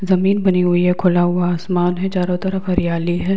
ज़मीं बनी हुई है खुला हुआ आसमन है चारो तरफ हरियाली है।